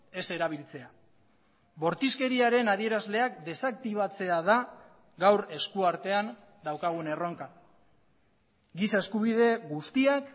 ez erabiltzea bortizkeriaren adierazleak desaktibatzea da gaur eskuartean daukagun erronka giza eskubide guztiak